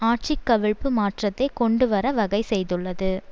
ஆட்சி கவிழிப்பு மாற்றத்தை கொண்டுவர வகை செய்துள்ளது